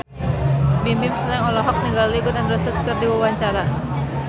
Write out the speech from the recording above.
Bimbim Slank olohok ningali Gun N Roses keur diwawancara